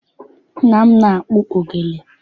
Nna m na-akpụ ogene.